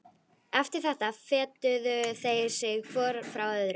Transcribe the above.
Eftir þetta fetuðu þeir sig hvor frá öðrum.